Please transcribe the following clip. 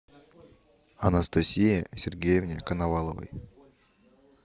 анастасии сергеевне коноваловой